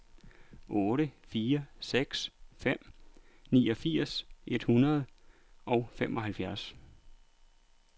otte fire seks fem niogfirs et hundrede og femoghalvfjerds